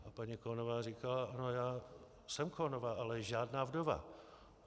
A paní Khonová říkala: Ano, já jsem Khonová, ale žádná vdova.